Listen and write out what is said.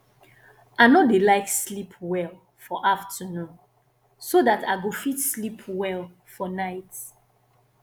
i no dey like sleep well for afternoon so dat i go fit sleep well for night